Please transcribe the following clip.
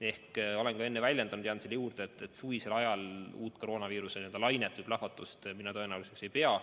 Ma olen ka enne öelnud ja jään selle juurde, et suvisel ajal ma uut koroonaviiruse lainet või plahvatust tõenäoliseks pea.